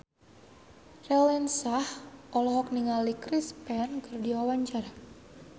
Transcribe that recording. Raline Shah olohok ningali Chris Pane keur diwawancara